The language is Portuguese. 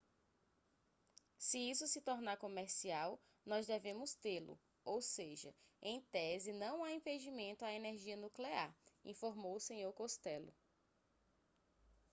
se isso se tornar comercial nós devemos tê-lo ou seja em tese não há impedimento à energia nuclear informou o senhor costello